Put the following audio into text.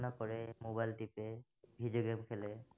কৰে mobile টিপে video game খেলে